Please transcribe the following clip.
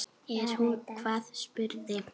Er hún hvað, spurði